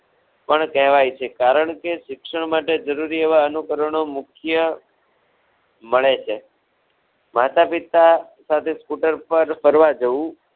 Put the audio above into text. પણ કહેવાય છે. કારણ કે શિક્ષણ માટે જરૂરી એવા અનુકરણો મુખ્ય મળે છે. માતા પિતા સાથે સ્કૂટર પર ફરવા જવું